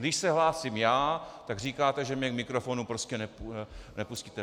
Když se hlásím já, tak říkáte, že mě k mikrofonu prostě nepustíte.